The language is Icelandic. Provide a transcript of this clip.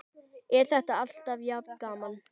Er þetta alltaf jafn gaman?